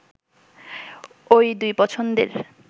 ঐ দুই পছন্দের